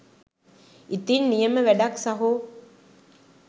ඉතින් නියම වැඩක් සහෝ!